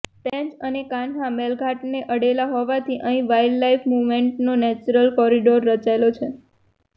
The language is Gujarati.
પેંચ અને કાન્હા મેલઘાટને અડેલા હોવાથી અહીં વાઈલ્ડલાઈફ મૂવમેન્ટનો નેચરલ કોરિડોર રચાયેલો છે